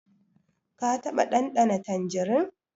Ka taɓa ɗanɗana tanjirin?